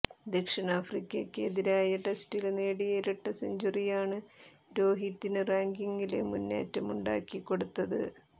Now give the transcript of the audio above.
ദക്ഷിണാഫ്രിക്കയ്ക്കെതിരായ ടെസ്റ്റില് നേടിയ ഇരട്ട സെഞ്ചുറിയാണ് രോഹിതിന് റാങ്കിങ്ങില് മുന്നേറ്റമുണ്ടാക്കി കൊടുത്തത്